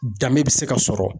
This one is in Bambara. Danbe bi se ka sɔrɔ.